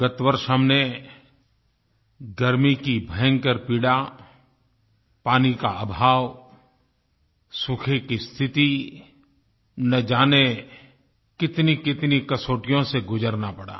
गत वर्ष हमने गर्मी की भयंकर पीड़ा पानी का अभाव सूखे की स्थिति न जाने कितनीकितनी कसौटियों से गुजरना पड़ा